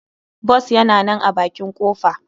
Bus yana nan a bakin kofa.